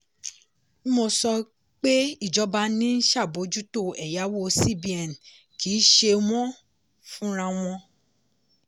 dmo sọ pé ìjọba ni ń ṣàbójútó ẹ̀yàwó cbn kì í ṣe wọ́n fúnra wọn.